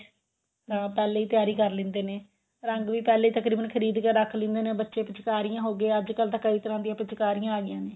ਤਾਂ ਪਹਿਲਾ ਹੀ ਤਿਆਰੀ ਕਰ ਲਿੰਦੇ ਨੇ ਰੰਗ ਵੀ ਪਹਿਲਾ ਹੀ ਤਕਰੀਬਨ ਖਰੀਦ ਕੇ ਰੱਖ ਲਿੰਦੇ ਨੇ ਬੱਚੇ ਪਿਚਕਾਰੀਆਂ ਹੋਗੀਆਂ ਅੱਜਕਲ ਤਾਂ ਕਈ ਤਰ੍ਹਾਂ ਦੀਆਂ ਪਿਚਕਾਰੀਆਂ ਆ ਗਈਆਂ ਨੇ